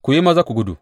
Ku yi maza ku gudu!